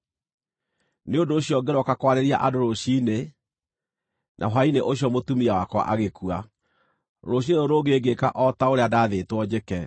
Nĩ ũndũ ũcio ngĩrooka kwarĩria andũ rũciinĩ, na hwaĩ-inĩ ũcio mũtumia wakwa agĩkua. Rũciinĩ rũrũ rũngĩ ngĩĩka o ta ũrĩa ndaathĩtwo njĩke.